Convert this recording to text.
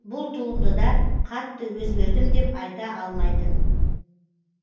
бұл туындыда қатты өзгердім деп айта алмайтын